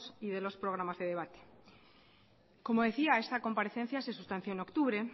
y de los programas de debate como decía esta comparecencia se sustanció en octubre